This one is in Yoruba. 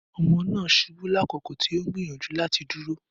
Ọmọ naa ṣubu lakoko ti o n gbiyanju lati duro